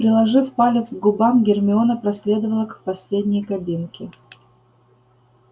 приложив палец к губам гермиона проследовала к последней кабинке